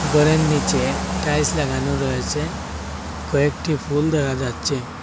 গরের নীচে টাইলস লাগানো রয়েছে কয়েকটি ফুল দেখা যাচ্ছে।